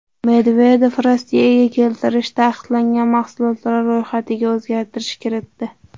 Medvedev Rossiyaga keltirish taqiqlangan mahsulotlar ro‘yxatiga o‘zgartirish kiritdi.